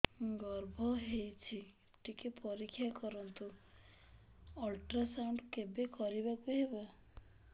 ଗର୍ଭ ହେଇଚି ଟିକେ ପରିକ୍ଷା କରନ୍ତୁ ଅଲଟ୍ରାସାଉଣ୍ଡ କେବେ କରିବାକୁ ହବ